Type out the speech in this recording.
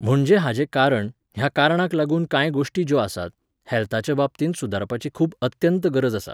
म्हणजे हाजे कारण, ह्या कारणांक लागून कांय गोश्टी ज्यो आसात, हेल्थाचे बाबतींत सुदारपाची खूब अत्यंत गरज आसा